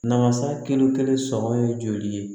Masa kelen kelen sɔngɔn ye joli ye